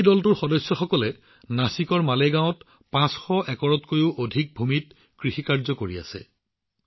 এই দলটোৰ সদস্যসকলে নাছিকৰ মালেগাঁওত ৫০০ একৰতকৈও অধিক ভূমিত কৃষি কৰি আছে